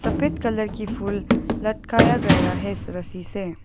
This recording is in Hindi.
सफेद कलर की फूल लटकाया गया है रस्सी से।